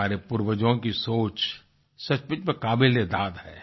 हमारे पूर्वजों की सोच सचमुच में काबिले दाद है